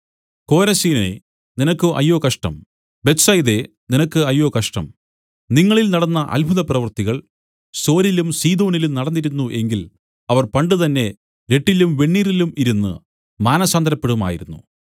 കോരസീനേ നിനക്ക് അയ്യോ കഷ്ടം ബേത്ത്സയിദേ നിനക്ക് അയ്യോ കഷ്ടം നിങ്ങളിൽ നടന്ന അത്ഭുതപ്രവൃത്തികൾ സോരിലും സീദോനിലും നടന്നിരുന്നു എങ്കിൽ അവർ പണ്ടുതന്നെ രട്ടിലും വെണ്ണീറിലും ഇരുന്നു മാനസാന്തരപ്പെടുമായിരുന്നു